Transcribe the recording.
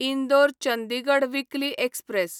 Indore Chandigarh weekly express